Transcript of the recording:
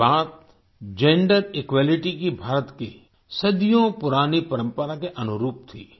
ये बात gender equality की भारत की सदियों पुरानी परंपरा के अनुरूप थी